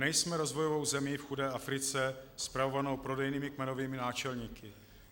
Nejsme rozvojovou zemí v chudé Africe spravovanou prodejnými kmenovými náčelníky.